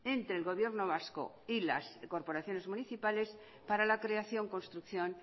entre el gobierno vasco y las corporaciones municipales para la creación construcción